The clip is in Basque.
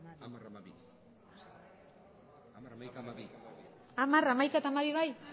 hamar hamaika eta